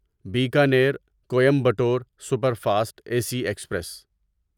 Bikaner Coimbatore superfast A C express